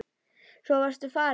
Svo varstu farinn.